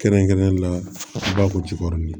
Kɛrɛnkɛrɛnnenya la an b'a fɔ ko jikɔrɔ ye